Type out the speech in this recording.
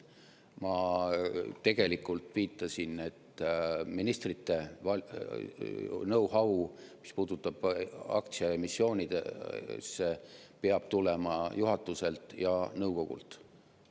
Ma tegelikult viitasin, et ministrite know-how, mis puudutab aktsiaemissioone, peab tulema juhatuselt ja nõukogult.